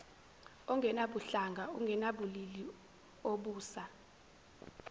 ongenabuhlanga ongenabulili obusa